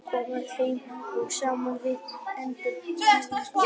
Þessar niðurstöður koma heim og saman við erlendar mælingar.